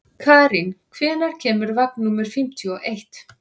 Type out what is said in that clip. Karín, hvenær kemur vagn númer fimmtíu og eitt?